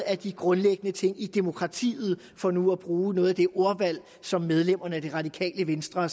af de grundlæggende ting i demokratiet for nu at bruge noget af det ordvalg som medlemmer af det radikale venstre har